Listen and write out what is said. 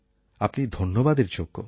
আপনি ধন্যবাদের যোগ্য